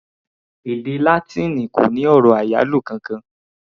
Èdè Látíìnì kò ní ọ̀rọ̀ àyálò kankan.